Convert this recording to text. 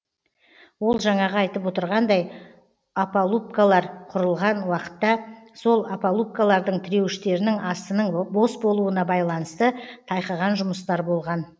ол жаңағы айтып отырғандай опалубкалар құрылған уақытта сол опалубкалардың тіреуіштерінің астының бос болуына байланысты тайқыған жұмыстар болған